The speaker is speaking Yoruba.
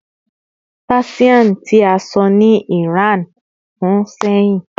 Persian ti a sọ ni Iran fun sehin